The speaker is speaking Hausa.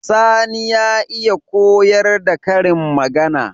Sani ya iya koyar da karin magAna